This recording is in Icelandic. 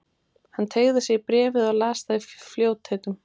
Hann teygði sig í bréfið og las það í fljótheitum.